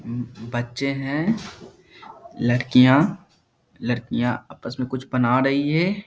हम्म बच्चे हैं। लड़कियां लड़कियां आपस में कुछ बना रहीं हैं।